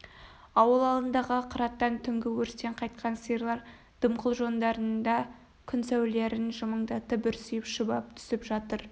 ауыл алдындағы қыраттан түнгі өрістен қайтқан сиырлар дымқыл жондарында күн сәулелерін жымыңдатып бүрсиіп шұбап түсіп жатыр